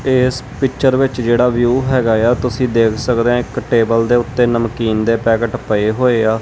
ਇਸ ਪਿੱਚਰ ਵਿੱਚ ਜਿਹੜਾ ਵਿਊ ਹੈਗਾ ਆ ਤੁਸੀਂ ਦੇਖ ਸਕਦੇ ਹੋ ਇੱਕ ਟੇਬਲ ਦੇ ਉੱਤੇ ਨਮਕੀਨ ਦੇ ਪੈਕਟ ਪਏ ਹੋਏ ਆ।